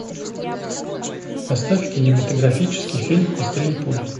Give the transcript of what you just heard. поставь кинематографический фильм быстрее пули